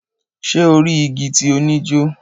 Ṣe o ri igi ti o ni jo?